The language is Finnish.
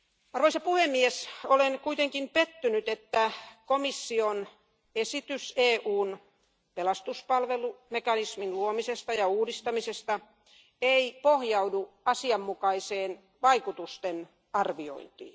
Arvoisa puhemies, olen kuitenkin pettynyt, että komission esitys EUn pelastuspalvelumekanismin luomisesta ja uudistamisesta ei pohjaudu asianmukaiseen vaikutustenarviointiin.